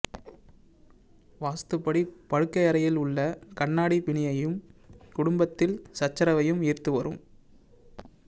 வாஸ்துப்படி படுக்கையறையில் உள்ள கண்ணாடி பிணியையும் குடும்பத்தில் சச்சரவையும் ஈர்த்து வரும்